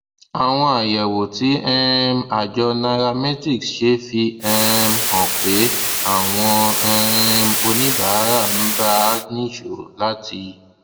àwọn àyẹwò tí um àjọ nairametrics ṣe fi um hàn pé àwọn um oníbàárà ń bá a nìṣó láti